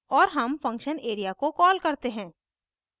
और हम function area को कॉल करते हैं